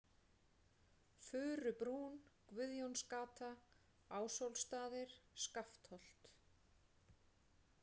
Furubrún, Guðjónsgata, Ásólfsstaðir, Skaftholt